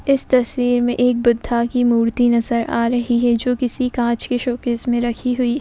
इस तस्वीर में एक बुद्धा की मूर्ति नजर आ रही है जो किसी कांच के शोकेस में रखी हुई है।